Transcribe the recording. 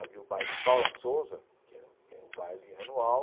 Havia o baile Paula Souza, que era que era um baile anual,